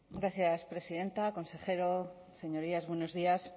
gracias presidenta consejero señorías buenos días